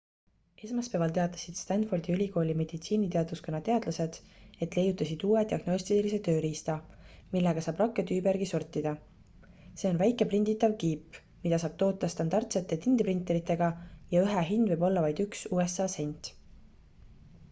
esmaspäeval teatasid stanfordi ülikooli meditsiiniteaduskonna teadlased et leiutasid uue diagnostilise tööriista millega saab rakke tüübi järgi sortida see on väike prinditav kiip mida saab toota standardsete tindiprinteritega ja ühe hind võib olla vaid 1usa sent